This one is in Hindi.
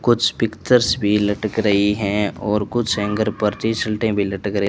कुछ पिक्चर्स भी लटक रही हैं और कुछ हेंगर परचे सल्टें भी लटक रही--